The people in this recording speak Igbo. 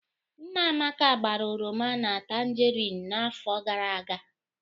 Nna Amaka gbara oroma na tangerine n'afọ gara aga